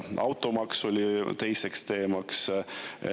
Automaks oli teine teema.